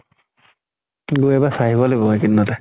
গৈ এবাৰ চাই আহিব লাগিব এই কিদিনতে